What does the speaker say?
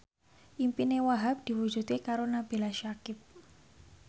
impine Wahhab diwujudke karo Nabila Syakieb